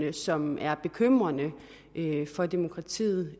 ej som er bekymrende for demokratiet